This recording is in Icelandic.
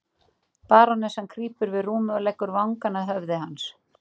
Barónessan krýpur við rúmið og leggur vangann að höfði hans.